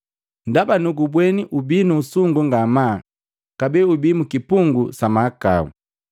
Ndaba nugubweni ubii nu usungu ngamaa kabee ubii mukipungu sa mahakau.”